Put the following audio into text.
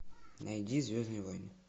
найди звездные войны